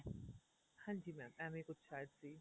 ਹਾਂਜੀ mam ਐਵੇਂ ਕੁੱਝ ਸ਼ਾਇਦ ਸੀ